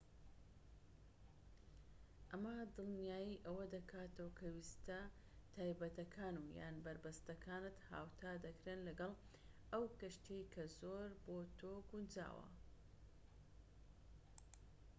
ئەمە دڵنیای ئەوە دەکاتەوە کە ویستە تایبەتەکان و/یان بەربەستەکانت هاوتا دەکرێن لەگەڵ ئەو کەشتیەی کە زۆر بۆ تۆ گونجاوە